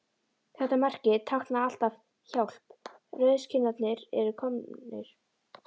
Þetta merki táknaði alltaf: Hjálp, rauðskinnarnir eru komnir